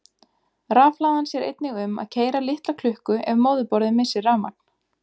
Rafhlaðan sér einnig um að keyra litla klukku ef móðurborðið missir rafmagn.